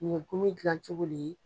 Komi gilan cogo le ye ?